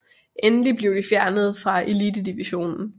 Endelig blev de fjernet fra elitedivisionen